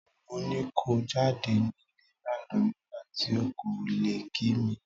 Mo ni ko jáde nílé lánàá nígbà tí ò kò lè kí mi.